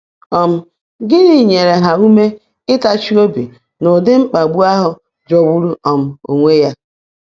um Gịnị nyere ha ume ịtachi obi n’ụdị mkpagbu ahụ jọgburu um onwe ya?